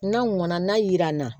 N'a mɔna n'a yira n na